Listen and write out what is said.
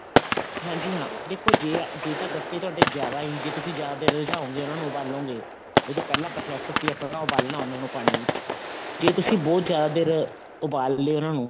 ਹਾਂਜੀ ਹਾਂ ਦੇਖੋ ਜੇ ਜੇ ਤਾਂ ਗੱਟੇ ਤੁਹਾਡੇ ਜਿਆਦਾ ਹੀ ਜੇ ਤੁਸੀਂ ਜਿਆਦਾ ਦੇਰ ਰਿਝਾਓੰਗੇ ਉਹਨਾ ਨੂੰ ਉਬਾਲੋਂਗੇ ਜਿਹੜਾ ਪਹਿਲਾਂ process ਸੀ ਆਪਣਾ ਉਬਾਲਣਾ ਉਹਨਾ ਨੂੰ ਪਾਣੀ ਦੇ ਵਿੱਚ ਜੇ ਤੁਸੀਂ ਬਹੁਤ ਜਿਆਦਾ ਦੇਰ ਉਬਾਲ ਲਿਆ ਉਹਨਾ ਨੂੰ